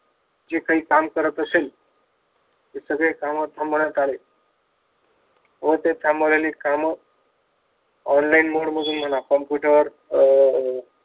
जे काही काम करत असेल ते सगळे काम थांबवण्यात आले व ते थांबवलेली काम online mode मध्ये म्हणा कम्प्युटर अह